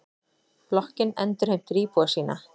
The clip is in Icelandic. Blokkin endurheimtir íbúa sína.